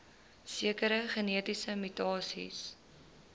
sekere genetiese mutasies